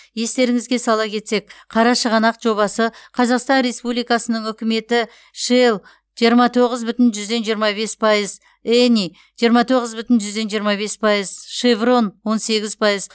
естеріңізге сала кетсек қарашығанақ жобасы қазақстан республикасының үкіметі шелл жиырма тоғыз бүтін жүзден жиырма бес пайыз эни жиырма тоғыз бүтін жүзден жиырма бес пайыз шеврон он сегіз пайыз